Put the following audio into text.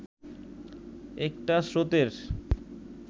একটা স্রোতের